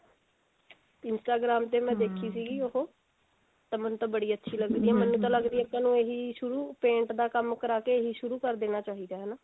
Instagram ਤੇ ਮੈਂ ਦੇਖੀ ਸੀ ਉਹ ਤਾਂ ਮੈਨੂੰ ਤਾਂ ਬੜੀ ਅੱਛੀ ਲੱਗੀ ਮੈਨੂੰ ਤਾਂ ਲਗਦੀ ਹੈ ਅੱਜਕਲ ਇਹੀ ਸ਼ੁਰੂ paint ਦਾ ਕੰਮ ਕਰਾਕੇ ਇਹੀ ਸ਼ੁਰੂ ਕਰ ਦੇਣਾ ਚਾਹਿਦਾ ਹੈ